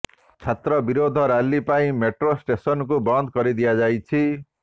ଛାତ୍ର ବିରୋଧ ରାଲି ପାଇଁ ମେଟ୍ରୋ ଷ୍ଟେସନ୍କୁ ବନ୍ଦ କରିଦିଆଯାଇଛି